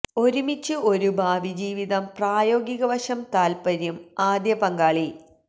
ഒരുമിച്ചു ഒരു ഭാവി ജീവിതം പ്രായോഗിക വശം താൽപര്യം ആദ്യ പങ്കാളി